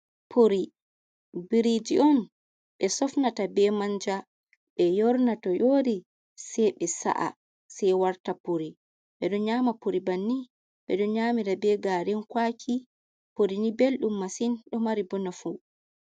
Puri biriji on ɓe sofnata be manja ɓe yorna to yori sei be sa’a sei warta puri, ɓedon nyama puri banni, ɓeɗon nyamira be garin kwaki puri ni belɗum masin ɗo mari ɓo nafu.